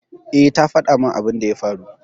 Eh, ta fada min abin da ya faru